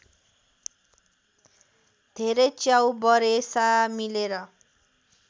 धेरै च्याउबरेसा मिलेर